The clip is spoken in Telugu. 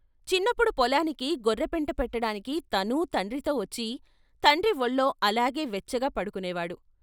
చిన్నప్పుడు పొలానికి గొర్రెపెంట పెట్టడానికి తనూ తండ్రితో వచ్చి తండ్రి వొళ్ళో అలాగే వెచ్చగా పడుకునేవాడు.